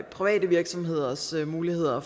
private virksomheders muligheder